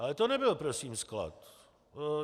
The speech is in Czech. Ale to nebyl prosím sklad.